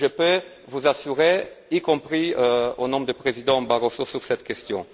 Je peux vous rassurer, y compris au nom du président Barroso, sur cette question.